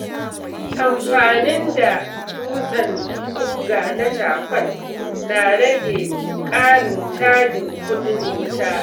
Amfaninda dutsen guga na cakwal na rage ƙarin cajin kuɗin wuta.